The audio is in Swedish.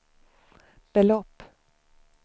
belopp